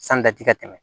San kati ka tɛmɛ